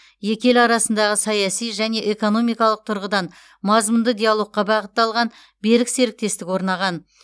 екі ел арасындағы саяси және экономикалық тұрғыдан мазмұнды диалогқа бағытталған берік серіктестік орнаған